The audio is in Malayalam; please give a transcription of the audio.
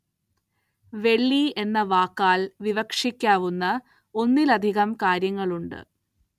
വെള്ളി എന്ന വാക്കാല്‍ വിവക്ഷിക്കാവുന്ന ഒന്നിലധികം കാര്യങ്ങളുണ്ട്